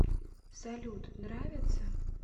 салют нравится